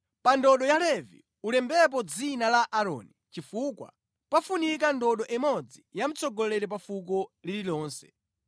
Pa ndodo ya Levi ulembepo dzina la Aaroni, chifukwa pafunika ndodo imodzi ya mtsogoleri pa fuko lililonse.